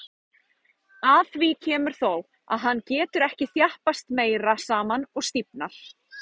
Að því kemur þó, að hann getur ekki þjappast meira saman og stífnar.